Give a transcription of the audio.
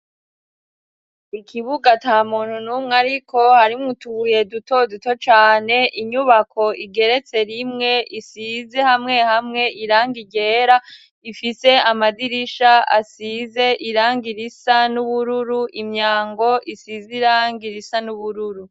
Ikibuga ata muntu n'umwe ariko, harimwo utubuye duto duto cane, inyubako igeretse rimwe isize hamwe hamwe irangi ryera ifise amadirisha asize irangi risa n'ubururu, imyango isize irangi risa n'ubururu.